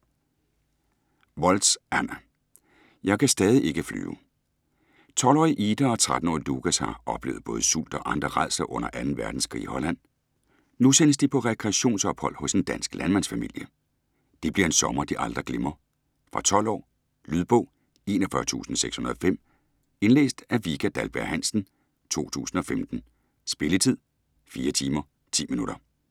Woltz, Anna: Jeg kan stadig ikke flyve 12-årige Ida og 13-årige Lukas har oplevet både sult og andre rædsler under 2. verdenskrig i Holland. Nu sendes de på rekreationsophold hos en dansk landmandsfamilie. Det bliver en sommer, de aldrig glemmer. Fra 12 år. Lydbog 41605 Indlæst af Vika Dahlberg-Hansen, 2015. Spilletid: 4 timer, 10 minutter.